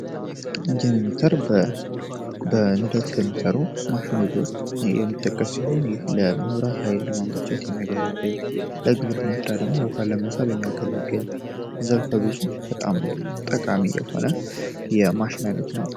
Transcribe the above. ጄኔሬተር በነዳጅ ከሚሰሩ ማሽኖች ውስጥ አንዱ ሲሆን ይህ የመብራት ኃይሌ ለማመንጨት የሚያገለግል የግብርና ውሃ ለመሳብ የሚያገለግል ዘርፈ ብዙ በጣም ጠቃሚ የሆነ የማሽን አይነት ነው።